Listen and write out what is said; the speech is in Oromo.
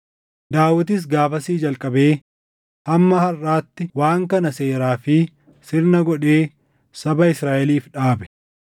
Daawitis gaafasii jalqabee hamma harʼaatti waan kana seeraa fi sirna godhee saba Israaʼeliif dhaabe.